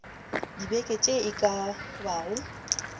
dibeke tše e ka bago